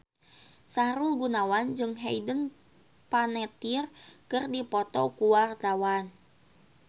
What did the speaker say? Sahrul Gunawan jeung Hayden Panettiere keur dipoto ku wartawan